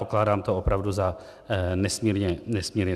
Pokládám to opravdu za nesmírně sporné.